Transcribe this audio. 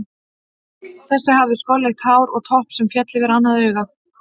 Þessi hafði skolleitt hár og topp sem féll yfir annað augað.